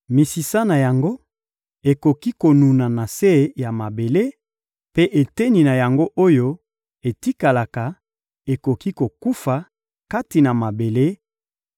misisa na yango ekoki konuna na se ya mabele, mpe eteni na yango oyo etikalaka ekoki kokufa kati na mabele,